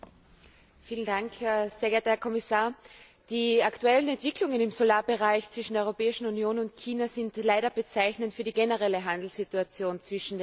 Herr Präsident! Sehr geehrter Herr Kommissar! Die aktuellen Entwicklungen im Solarbereich zwischen der Europäischen Union und China sind leider bezeichnend für die generelle Handelssituation zwischen den beiden Partnern.